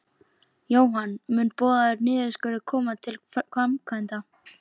Jóhann: Mun boðaður niðurskurður koma til framkvæmda?